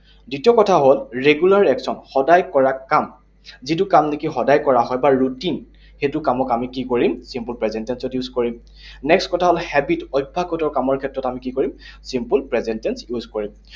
দ্বিতীয় কথা হল regular action, সদায় কৰা কাম। যিটো কাম নেকি সদায় কৰা হয়, বা routine, সেইটো কামক আমি কি কৰিম? Simple present tense ত use কৰিম। Next কথা হল habit, অভ্যাসগত কামৰ ক্ষেত্ৰত আমি কি কৰিম? Simple present tense use কৰিম।